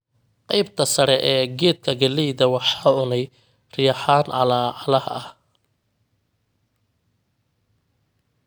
Qaybta sare ee geedka gallayda waxa cunay riyahaan calaacalaha ah.